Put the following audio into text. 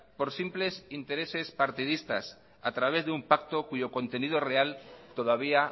por simples intereses partidistas a través de un pacto cuyo contenido real todavía